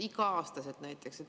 Igal aastal näiteks.